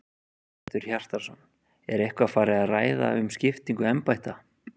Hjörtur Hjartarson: Er eitthvað farið að ræða um skiptingu embætta?